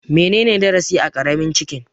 Menene darasi a Karamin Chicken?